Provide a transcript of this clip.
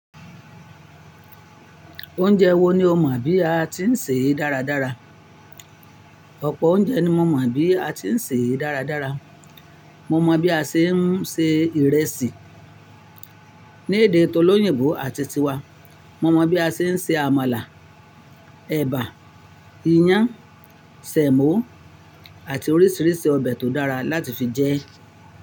Oúnjẹ wo ni o mọ̀ bí a ti ń sè é dáradára? Ọ̀pọ̀ oúnjẹ ni mo mọ̀ bí a ti ń sè é dáradára. Mo mọ bí a ṣe ń se ìrẹsì ní èdè tọ́lóyìnbó àti ti wa. Mo mọ bí a ṣe ń se àmàlà, ẹ̀bà, iyán, sẹ̀mó, àti oríṣiríṣi ọbẹ̀ tó dára láti fi jẹ ẹ́